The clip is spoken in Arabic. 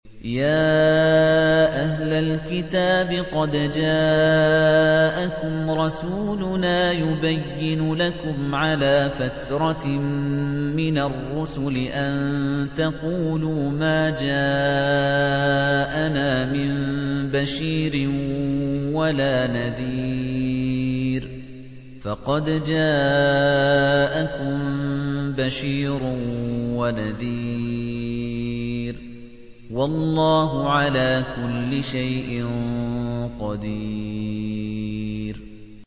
يَا أَهْلَ الْكِتَابِ قَدْ جَاءَكُمْ رَسُولُنَا يُبَيِّنُ لَكُمْ عَلَىٰ فَتْرَةٍ مِّنَ الرُّسُلِ أَن تَقُولُوا مَا جَاءَنَا مِن بَشِيرٍ وَلَا نَذِيرٍ ۖ فَقَدْ جَاءَكُم بَشِيرٌ وَنَذِيرٌ ۗ وَاللَّهُ عَلَىٰ كُلِّ شَيْءٍ قَدِيرٌ